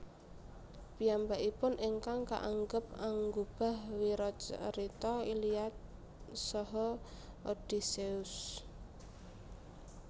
Piyambakipun ingkang kaanggep anggubah wiracarita Iliad saha Odysseus